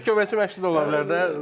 Həm də köməkçi məşqçi də ola bilər də.